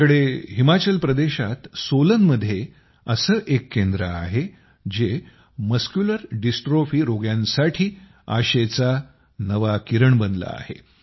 आमच्या कडे हिमाचल प्रदेशात सोलनमध्ये असं एक केंद्र आहे जे मस्क्युलर डिस्ट्रॉफी रोग्यांसाठी आशेंचा नवा किरण बनलं आहे